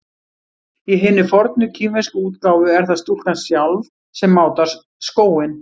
Í hinni fornu kínversku útgáfu er það stúlkan sjálf sem mátar skóinn.